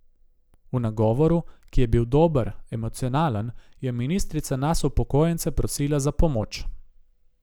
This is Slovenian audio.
V nagovoru, ki je bil dober, emocionalen, je ministrica nas upokojence prosila za pomoč.